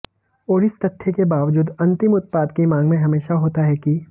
और इस तथ्य के बावजूद अंतिम उत्पाद की मांग में हमेशा होता है कि